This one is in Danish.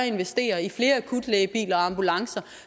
investere i flere akutlægebiler og ambulancer